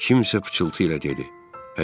Kimsə pıçıltı ilə dedi: